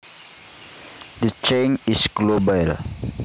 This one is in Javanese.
The change is global